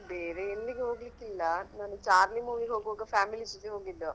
ಬೇರೆ ಎಲ್ಲಿಗೆ ಹೋಗ್ಲಿಕೆ ಇಲ್ಲಾ ನಾನ್ ಚಾರ್ಲಿ movie ಗೆ ಹೋಗುವಾಗ families ಜೊತೆ ಹೋಗಿದ್ದು.